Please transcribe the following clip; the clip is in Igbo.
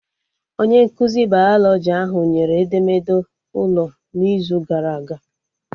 Onye nkụzi bayalọjị ahụ nyere edemede ụlọ n'izu gara aga